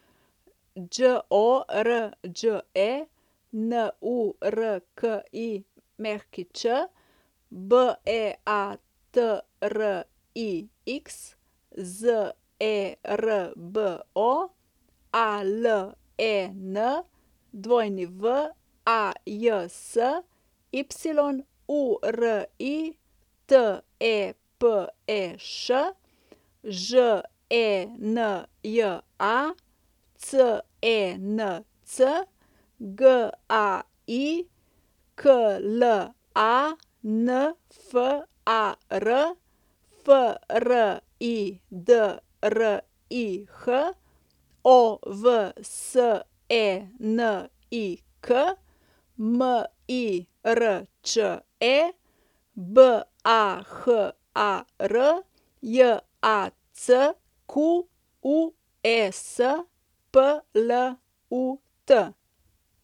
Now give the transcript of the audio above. Đorđe Nurkić, Beatrix Zerbo, Alen Wajs, Yuri Tepeš, Ženja Cenc, Gai Klanfar, Fridrih Ovsenik, Mirče Bahar, Jacques Plut.